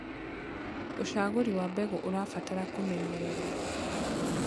Ũcagũrĩ wa mbegũ ũrabatara kũmenyererwo